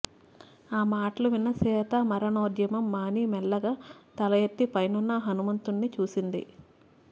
ఆ మాటలు విన్న సీత మరణోద్యమం మాని మెల్లగా తలయెత్తి పైనున్న హనుమంతుని చూసింది